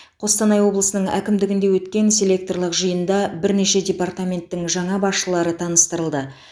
қостанай облысының әкімдігінде өткен селекторлық жиында бірнеше департаменттің жаңа басшылары таныстырылды